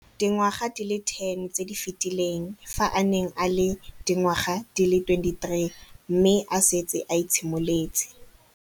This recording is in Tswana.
Dingwaga di le 10 tse di fetileng, fa a ne a le dingwaga di le 23 mme a setse a itshimoletse